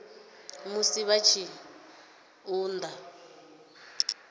musi vha tshi ṱun ḓa